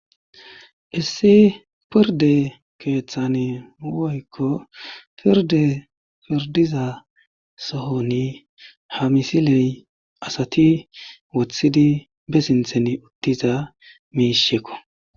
Issi pirde keeththane woykko pirde pirdiza sohoni ha misiley asati wothidi be sinthen uttiza miishekko.